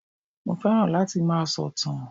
Mo fẹ́ràn láti máa sọ̀tàn